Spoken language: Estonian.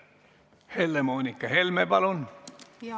Helle-Moonika Helme, palun!